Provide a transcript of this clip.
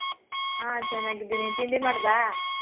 ಹ ಚೆನ್ನಾಗಿದೀನಿ ತಿಂಡಿ ಮಾಡ್ದಾ?